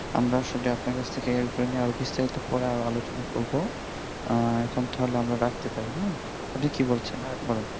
আমরা আসলে আপনার কাছ থেকে বিস্তারিত পরে আর আলোচনা করব আর এখন তাহলে আমরা রাখতে পার আপনি কি বলছেন বলেন